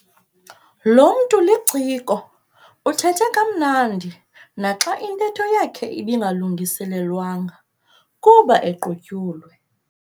Lo mntu liciko uthethe kamnandi naxa intetho yakhe ibingalungiselelwanga kuba equtyulwe.